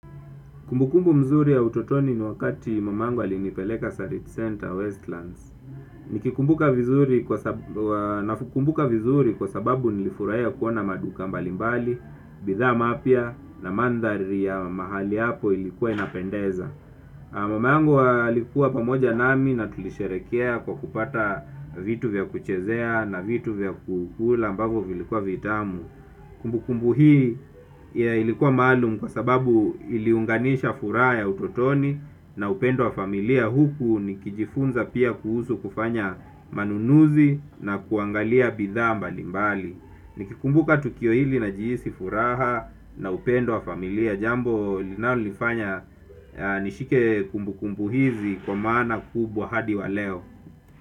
Kumbukumbu mzuri ya utotoni ni wakati mamangu alinipeleka Sarit Center Westlands. Nikikumbuka vizuri kwa sababu nilifurahia kuona maduka mbali mbali, bidhaa mapya na mandhari ya mahali hapo ilikuwa inapendeza. Mamangu alikuwa pamoja nami na tulisherehekea kwa kupata vitu vya kuchezea na vitu vya kukula ambavyo vilikuwa vitamu. Kumbukumbu hii ilikuwa maalum kwa sababu iliunganisha furaha ya utotoni na upendo wa familia. Huku nikijifunza pia kuhusu kufanya manunuzi na kuangalia bidhaa mbali mbali. Nikikumbuka tukio hili najihisi furaha na upendo wa familia. Jambo linalolifanya nishike kumbukumbu hizi kwa maana kubwa hadi wa leo.